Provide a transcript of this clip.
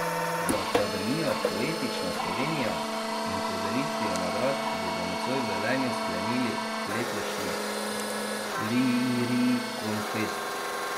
Z Akademijo Poetična Slovenija in podelitvijo nagrad bodo nocoj v Velenju sklenili letošnji Lirikonfest.